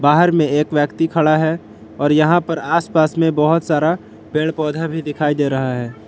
घर में एक व्यक्ति खड़ा है और यहां पर आसपास में बहोत सारा पेड़ पौधा भी दिखाई दे रहा है।